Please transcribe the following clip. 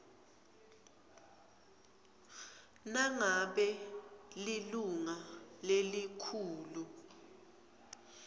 nangabe lilunga lelikhulu